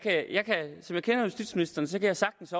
kender justitsministeren kan jeg sagtens